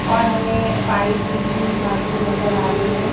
और हमें पाइप ली हुई हाथ में नजर आ रही है।